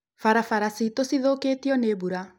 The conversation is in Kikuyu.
Barabara ciitũ cithũkĩtio nĩ mbura.